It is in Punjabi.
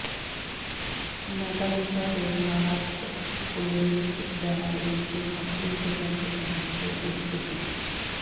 ਮੈਟਾਲਿਕਾ ਦੇ ਲਾਰਸ ਉਲਰੀਚ ਬੈਂਡ ਦੇ ਸ਼ੁਰੂਆਤੀ ਪ੍ਰਸ਼ੰਸਕਾਂ ਵਿੱਚੋਂ ਇੱਕ ਸੀ